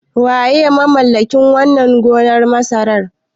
Waye mamallakin wannan gonar masarar?